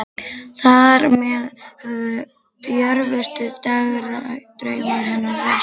Þar með höfðu djörfustu dagdraumar hennar ræst.